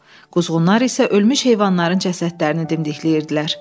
Quzğunlar isə ölmüş heyvanların cəsədlərini dimdikləyirdilər.